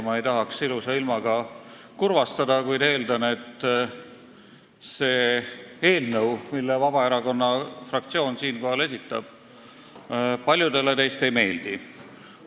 Ma ei tahaks küll ilusa ilmaga kedagi kurvastada, kuid eeldan, et see eelnõu, mille Vabaerakonna fraktsioon esitab, paljudele teist ei meeldi.